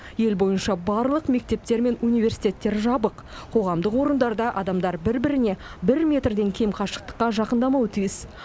ел бойынша барлық мектептер пен университеттер жабық қоғамдық орындарда адамдар бір біріне бір метрден кем қашықтыққа жақындамауы тиіс